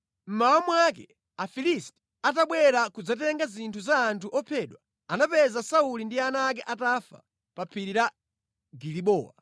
Mmawa mwake, Afilisti atabwera kudzatenga zinthu za anthu ophedwa, anapeza Sauli ndi ana ake atafa pa phiri la Gilibowa.